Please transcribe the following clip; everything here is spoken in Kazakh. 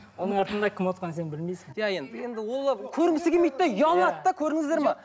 оның артында кім отырғанын сен білмейсің иә енді енді ол көрінгісі келмейді де ұялады да көрдіңіздер ме